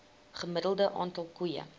gemiddelde aantal koeie